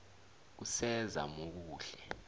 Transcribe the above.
kusezamokuhle